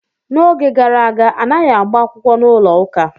N'oge gara aga, anaghị agba akwụkwọ n'ụlọ ụka.